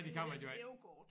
Eller et hævekort